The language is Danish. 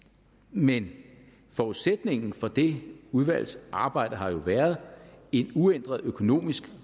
men forudsætningen for det udvalgsarbejde har jo været en uændret økonomisk